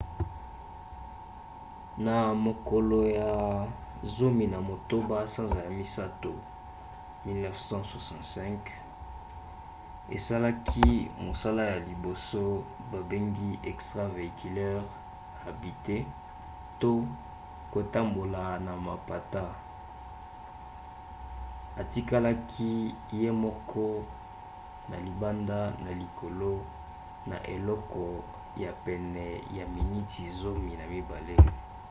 na mokolo ya 18 sanza ya misato 1965 asalaki mosala ya liboso babengi extravéhiculaire habitée eva to kotambola na mapata atikalaki ye moko na libanda na likolo na eleko ya pene ya miniti zomi na mibale